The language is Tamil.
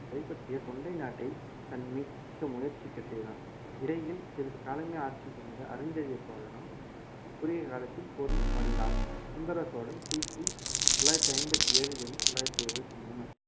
கைப்பற்றிய தொண்டை நாட்டை தன் மீட்க முயற்சிக்க செய்தான் இடையில் சிறிது காலமே ஆட்சி புரிந்த அரிஞ்சய சோழனும் குறுகிய காலத்தில் போரில் மடிந்தான் சுந்தர சோழன் கிபி தொள்ளாயிரத்தி ஐம்பத்தி ஏழில் இருந்து தொள்ளாயிரத்தி எழுபத்தி மூணு